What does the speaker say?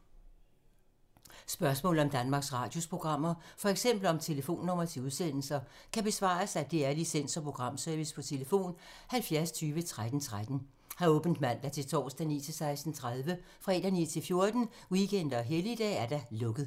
Spørgsmål om Danmarks Radios programmer, f.eks. om telefonnumre til udsendelser, kan besvares af DR Licens- og Programservice: tlf. 70 20 13 13, åbent mandag-torsdag 9.00-16.30, fredag 9.00-14.00, weekender og helligdage: lukket.